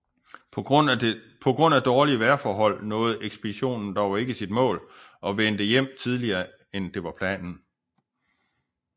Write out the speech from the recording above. På grund af dårlige vejrforhold nåede ekspeditionen dog ikke sit mål og vendte hjem tidligere end det var planen